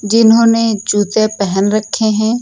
जिन्होंने जूते पहेन रखे है।